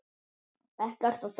Ekkert að þakka